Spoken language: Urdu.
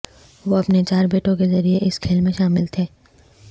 وہ اپنے چار بیٹوں کے ذریعہ اس کھیل میں شامل تھے